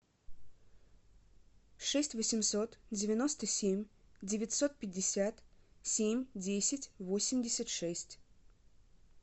шесть восемьсот девяносто семь девятьсот пятьдесят семь десять восемьдесят шесть